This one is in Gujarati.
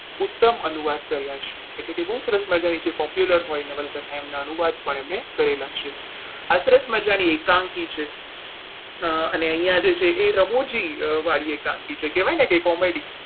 ઉત્તમ અનુવાદ કર્યા છે એટલે કે બહુ સરસ મજાની જે popular હોય નવલકથા એનું અનુવાદ પણ એમણે કરેલા છે. આ સરસ મજાની એકાંકી છે અને અહીંયા જે છે એ રમુજી વાળી એકાંકી છે કહેવાય ને કે comedy